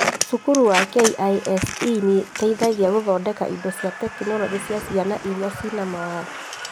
Cukuru wa KISE nĩũtethagia gũthondeka indo cia tekinoronjĩ cia ciana iria ciĩna mawathe